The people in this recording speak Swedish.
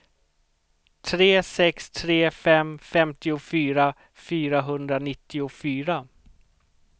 tre sex tre fem femtiofyra fyrahundranittiofyra